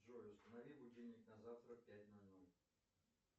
джой установи будильник на завтра в пять ноль ноль